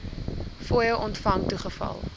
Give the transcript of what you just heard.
fooie ontvang toegeval